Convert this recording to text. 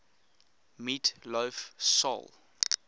meat loaf soul